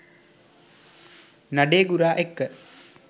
නඩේගුරා එක්ක